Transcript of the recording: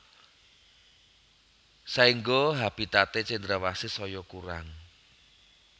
Saéngga habitaté cendrawasih saya kurang